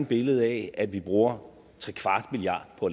billede af at vi bruger trekvart milliard på